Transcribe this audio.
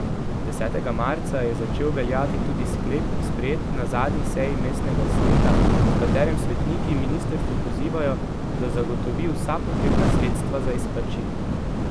Desetega marca je začel veljati tudi sklep, sprejet na zadnji seji mestnega sveta, v katerem svetniki ministrstvo pozivajo, da zagotovi vsa potrebna sredstva za izplačilo.